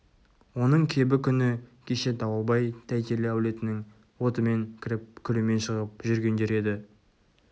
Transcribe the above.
оның кебі күні кеше дауылбай-тәйтелі әулетінің отымен кіріп күлімен шығып жүргендер еді